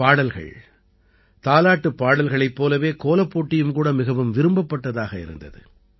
பாடல்கள் தாலாட்டுப் பாடல்களைப் போலவே கோலப்போட்டியும் கூட மிகவும் விரும்பப்பட்டதாக இருந்தது